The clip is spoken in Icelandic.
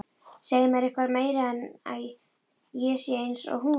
Segja mér eitthvað meira en að ég sé einsog hún.